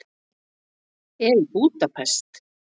Er í Búdapest.